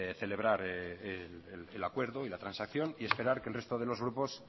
celebrar el acuerdo y la transacción y esperar que el resto de los grupos